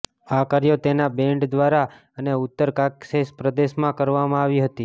આ કાર્યો તેના બેન્ડ દ્વારા અને ઉત્તર કાકેશસ પ્રદેશમાં કરવામાં આવી હતી